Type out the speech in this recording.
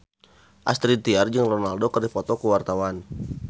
Astrid Tiar jeung Ronaldo keur dipoto ku wartawan